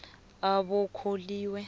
abokholiwe